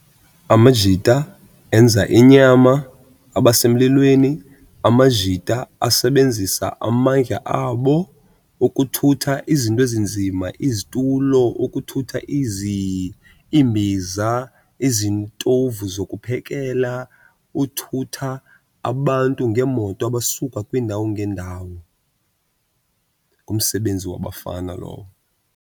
Amajita enza inyama abase emlilweni. Amajita asebenzisa amandla abo ukuthutha izinto ezinzima, izitulo, ukuthutha iimbiza, izitovu zokuphekela, uthutha abantu ngeemoto abasuka kwiindawo ngeendawo. Ngumsebenzi wabafana lowo.